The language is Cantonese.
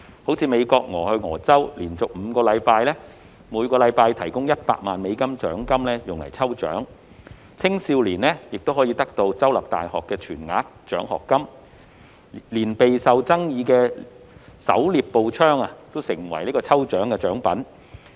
例如美國俄亥俄州連續5星期每周提供100萬美元獎金用於抽獎，青少年可獲得州立大學的全額獎學金，連備受爭議的狩獵步槍也成為抽獎獎品。